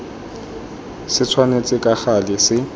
se tshwanetse ka gale se